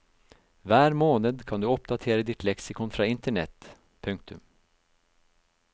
Hver måned kan du oppdatere ditt leksikon fra internett. punktum